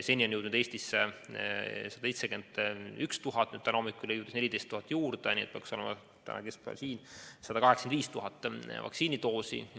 Seni on jõudnud Eestisse 171 000 doosi, täna hommikul tuli 14 000 juurde, nii et täna keskpäevaks peaks meil olema kokku 185 000 vaktsiinidoosi.